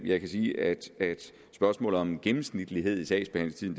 jeg kan sige at spørgsmålet om gennemsnitlig sagsbehandlingstid